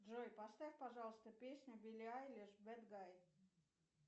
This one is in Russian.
джой поставь пожалуйста песню билли айлиш бэд гай